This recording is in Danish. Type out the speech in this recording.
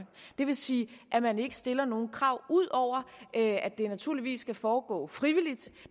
det vil sige at man ikke stiller nogen krav udover at det naturligvis skal foregå frivilligt